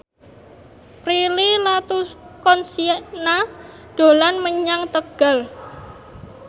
Prilly Latuconsina dolan menyang Tegal